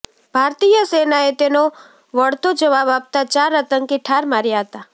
ભારતીય સેનાએ તેનો વળતો જવાબ આપતા ચાર આતંકી ઠાર માર્યા હતા